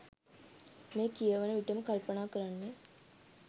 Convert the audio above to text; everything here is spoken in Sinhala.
මෙය කියවන විටම කල්පනා කරන්නේ